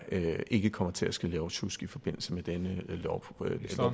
ikke kommer til at ske lovsjusk i forbindelse med denne